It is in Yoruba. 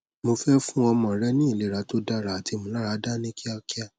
mo fẹ fun ọmọ rẹ ni ilera to dara ati imularada ni kiakia